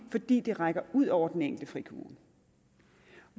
fordi det rækker ud over den enkelte frikommune